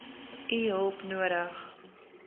u hulp nodig